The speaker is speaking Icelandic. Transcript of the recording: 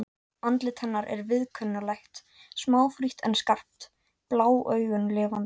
Andlit hennar er viðkunnanlegt, smáfrítt en skarpt, blá augun lifandi.